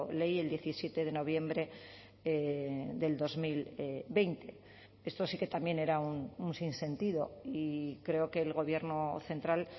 ley el diecisiete de noviembre del dos mil veinte esto sí que también era un sinsentido y creo que el gobierno central